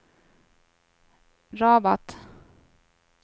Rabat